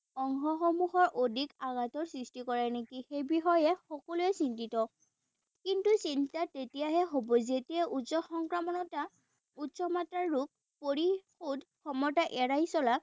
অংশসমূহৰ অধিক সৃষ্টি কৰে নেকি সেই বিষয়ে সকলোৱে চিন্তিত। কিন্তু চিন্তা তেতিয়াহে হব যেতিয়া উচ্চ সংক্ৰমতা উচ্চমাত্ৰাৰ ৰোগ পৰিশোধ ক্ষমতা এৰাই চলা